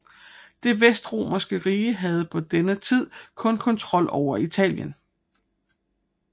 Det Vestromerske rige havde på denne tid kun kontrol over Italien